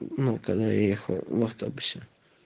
ну когда я ехал в автобусе